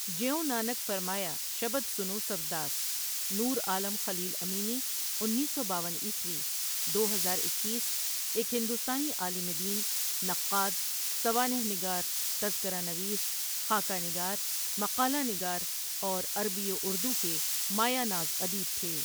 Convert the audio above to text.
جیوں نانکؔ فرمایا شبد سنو سب داس نور عالم خلیل امینی انیس سو باون عیسوی دو ہزار اکیس ایک ہندوستانی عالم دین، نقاد، سوانح نگار، تذکرہ نویس، خاکہ نگار، مقالہ نگار اور عربی و اردو کے مایۂ ناز ادیب تھے ۔